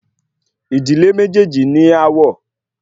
Ìdílé méjèèjì ní aáwọ̀